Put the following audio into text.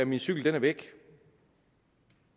min cykel er væk